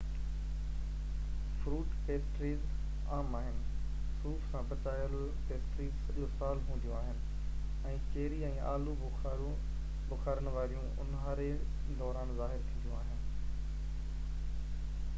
fruit pastries عام آهن صوف سان پچايل پيسٽريز سڄو سال هونديون آهن ۽ چيري ۽ آلو بخارن واريون اونهاري دوران ظاهر ٿينديون آهن